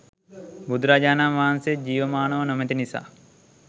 බුදුරජාණන් වහන්සේ ජීවමානව නොමැති නිසා